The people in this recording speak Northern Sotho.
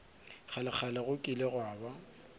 kgalekgale go kile gwa ba